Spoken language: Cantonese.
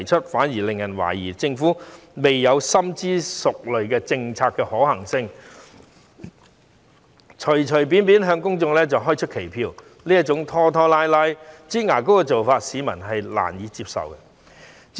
這反而令人覺得政府是在未有詳細研究政策的可行性前，就隨便向公眾開出期票，這種拖拖拉拉的做法，市民實在難以接受。